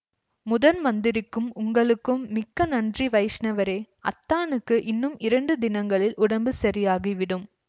முதன்மந்திரிக்கும் உங்களுக்கும் மிக்க நன்றி வைஷ்ணவரே அத்தானுக்கு இன்னும் இரண்டு தினங்களில் உடம்பு சரியாகிவிடும்